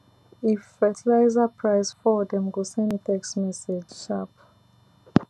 if fertiliser price fall dem go send me text message sharp